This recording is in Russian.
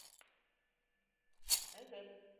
эвэп